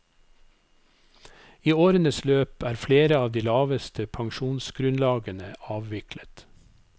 I årenes løp er flere av de laveste pensjonsgrunnlagene avviklet.